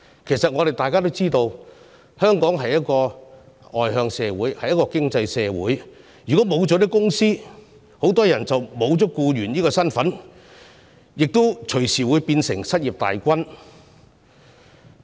其實大家都知道，香港是一個外向型經濟，如果沒有企業，很多人便會失去僱員這身份，變成失業大軍成員。